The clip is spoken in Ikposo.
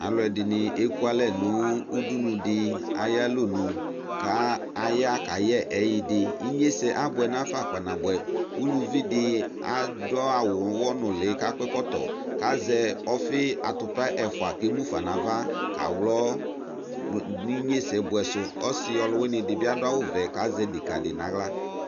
Ɛdini ekualɛ nu udunu di ayu alɔnu kʊ aka yɛ ɛyiu di inyesɛ abuɛ nafa kpana buɛ uluvi di adu awu uɣ̇ɔ nuli kazɛ atupa ɛfua ke mufa nu ava kaɣlɔ ɔsiyɔ nu su kazɛ deka di naɣla